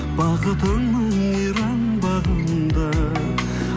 бақытыңның мейрам бағында